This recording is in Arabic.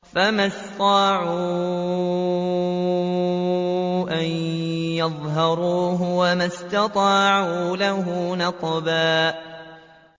فَمَا اسْطَاعُوا أَن يَظْهَرُوهُ وَمَا اسْتَطَاعُوا لَهُ نَقْبًا